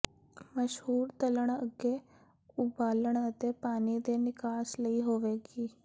mushroom ਤਲਣ ਅੱਗੇ ਉਬਾਲਣ ਅਤੇ ਪਾਣੀ ਦੇ ਨਿਕਾਸ ਲਈ ਹੋਵੇਗੀ